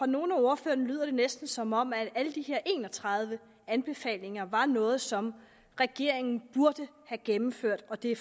nogle af ordførerne lyder det næsten som om alle de her en og tredive anbefalinger var noget som regeringen burde have gennemført og det